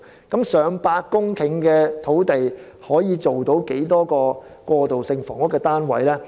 近100公頃的土地可以興建多少個過渡性房屋單位呢？